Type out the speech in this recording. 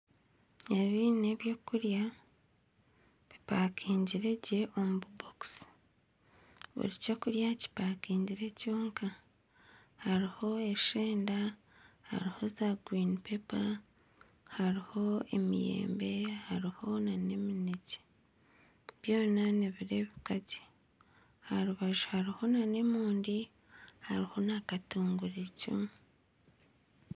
Ebi n'ebyokurya bipakaingire gye omu bibokisi buri ky'okurya kipakaingire kyonka hariho esheenda hariho za guurini pepa hariho emiyembe hariho nana eminekye byona nibireebeka gye aha rubaju hariho nana emonde hariho na katunguru eicumu